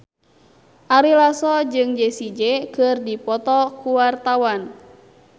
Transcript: Ari Lasso jeung Jessie J keur dipoto ku wartawan